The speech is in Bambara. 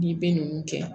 N'i bɛ nunnu kɛ